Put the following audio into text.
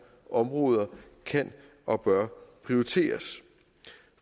områder kan og bør prioriteres